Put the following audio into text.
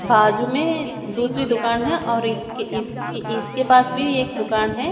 बाजु में दूसरी दुकान है और इसके इसके इसके पास भी एक दुकान है।